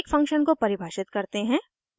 एक फंक्शन को परिभाषित करते हैं